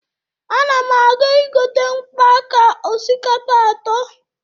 Ana m aga igote mkpo aka osikapa atọ.